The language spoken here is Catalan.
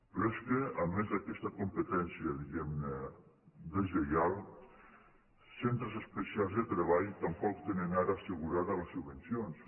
però és que a més d’aquesta competència diguem·ne deslleial centres especials de treball tampoc tenen ara assegurada les subvencions